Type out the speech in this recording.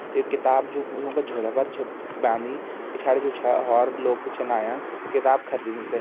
ये किताब जु यूं क झोला पर छै बाँधी पिछाड़ी जो छा और लोग भी छिन आयां किताब खरीदी थें।